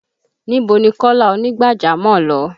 Níbo ni Kọ́lá ònígbàjámọ̀ lọ?